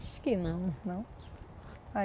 Acho que não. Não.